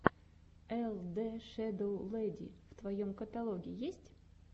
эл дэ шэдоу лэди в твоем каталоге есть